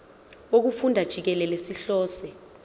wokufunda jikelele sihlose